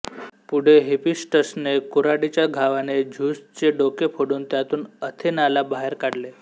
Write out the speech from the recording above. पुढे हिफीस्टसने कुऱ्हाडीच्या घावाने झ्यूसचे डोके फोडून त्यातून अथेनाला बाहेर काढले